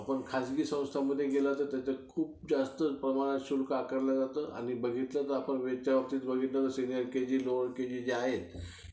आपण खाजगी संस्थांमध्ये गेल्यावर तिथं खूप जास्त प्रमाणात शुल्क आकारलं जातं आणि वरच्यावर बघितलं तर सिनिअर केजी लोअर केजी जे आहे